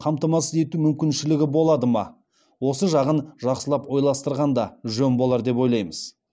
қамтамасыз ету мүмкіншілігі болады ма осы жағын жақсылап ойластырған да жөн болар деп ойлаймыз